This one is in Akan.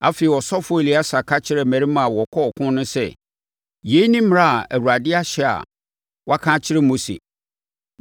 Afei, ɔsɔfoɔ Eleasa ka kyerɛɛ mmarima a wɔkɔɔ ɔko no sɛ, “Yei ne mmara a Awurade ahyɛ a waka akyerɛ Mose.